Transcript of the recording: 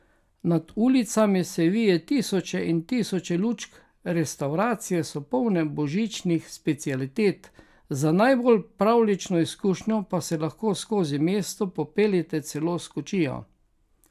Nad ulicami se vije tisoče in tisoče lučk, restavracije so polne božičnih specialitet, za najbolj pravljično izkušnjo pa se lahko skozi mesto popeljete celo s kočijo.